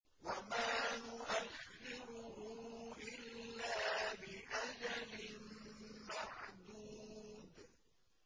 وَمَا نُؤَخِّرُهُ إِلَّا لِأَجَلٍ مَّعْدُودٍ